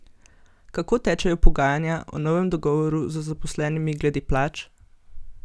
Kako tečejo pogajanja o novem dogovoru z zaposlenimi glede plač?